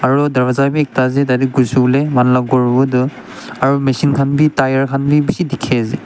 Aro darvaza beh ekta ase tate khushe bole manu la khor hobo etu aro machine khan beh tyre khan beh dekhe ase.